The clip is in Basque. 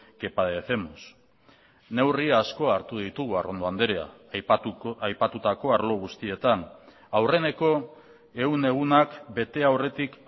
que padecemos neurri asko hartu ditugu arrondo andrea aipatutako arlo guztietan aurreneko ehun egunak bete aurretik